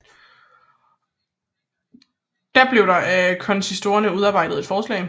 Der blev da af konsistorierne udarbejdet et forslag